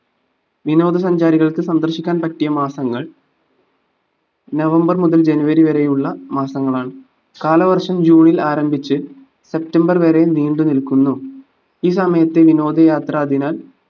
വിനോദ സഞ്ചാരികൾക്ക് സന്ദർശിക്കാൻ പറ്റിയ മാസങ്ങൾ നവംബർ മുതൽ ജനുവരി വരെയുള്ള മാസങ്ങളാണ് കാലവർഷം ജൂണിൽ ആരംഭിച് സെപ്റ്റംബർ വരെ നീണ്ടു നിൽക്കുന്നു ഈ സമയത് വിനോദ യാത്ര അതിനാൽ